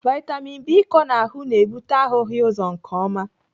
Vitamin B ịkọ n'ahụ na-ebute ahụghị ụzọ nke ọma.